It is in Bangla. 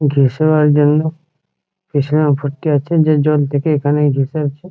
জন্য পিছনে ভর্তি আছে যে জল থেকে এখানেই ঘেঁষে আছে ।